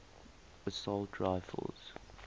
assault rifles